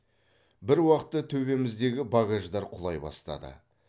бір уақытта төбеміздегі багаждар құлай бастады